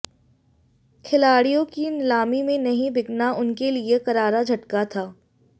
खिलाडि़यों की नीलामी में नहीं बिकना उनके लिये करारा झटका था